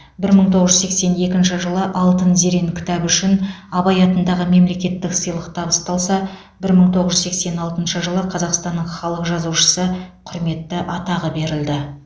бір мың тоғыз жүз сексен екінші жылы алтын зерен кітабы үшін абай атындағы мемлекеттік сыйлық табысталса бір мың тоғыз жүз сексен алтыншы жылы қазақстанның халық жазушысы құрметті атағы берілді